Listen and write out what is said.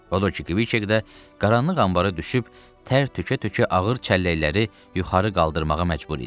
Odur ki, Kviçek də qaranlıq anbarda düşüb tər tökə-tökə ağır çəlləkləri yuxarı qaldırmağa məcbur idi.